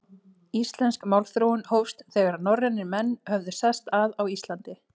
Íslensk málþróun hófst, þegar norrænir menn höfðu sest að á Íslandi.